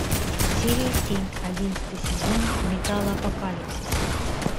серия семь одиннадцатый сезон металлопокалипсис